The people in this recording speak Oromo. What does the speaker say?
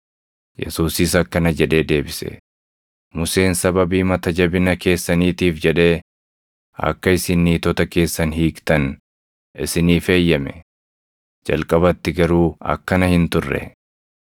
Yesuusis akkana jedhee deebise; “Museen sababii mata jabina keessaniitiif jedhee akka isin niitota keessan hiiktan isiniif eeyyame. Jalqabatti garuu akkana hin turre.